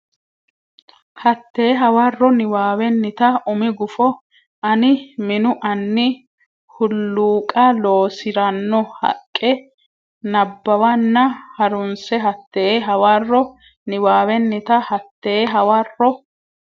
Hatte hawarro niwaawennita umi gufo ani minu anni hulluuqa loosi ranno haqqe nabbawanna ha runse Hatte hawarro niwaawennita Hatte hawarro.